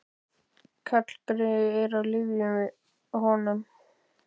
Karlgreyið er á lyfjum við honum